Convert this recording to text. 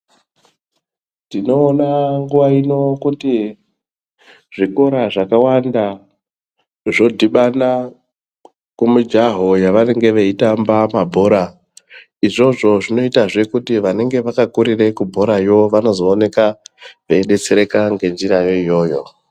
Tinoona nguva ino kuti zvikora zvakawanda zvodhibana kumijaho yavanenge veitamba mabhora. Izvozvo zvinoitazve kuti vanenga vakakurira kubhorayo vanozooneka veidetsereka ngenzira yeiyoyo.